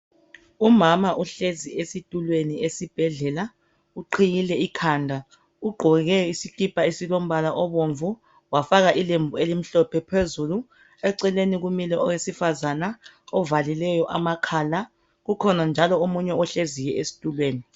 Umama uhlezi esitulweni esibhedlela uqhiyile ikhanda ,ugqoke isikipa ezilombala obomvu ,wafaka ilembu elimhlophe phezulu. Eceleni kumile owesifazane ovalileyo amakhala . Kukhona njalo omunye ohleziyo esitulweni